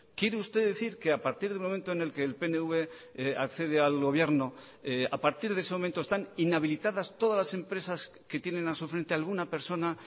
quiere usted decir que a partir del momento en el que el pnv accede al gobierno a partir de ese momento están inhabilitadas todas las empresas que tienen a su frente alguna persona